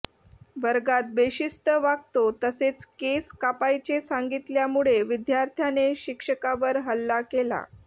वर्गात बेशिस्त वागतो तसेच केस कापायचे सांगितल्यामुळे विद्यार्थाने शिक्षकावर हल्ला केला